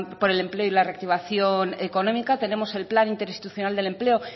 por el empleo y la reactivación económica tenemos el plan interinstitucional del empleo